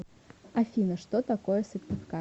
афина что такое сыктывкар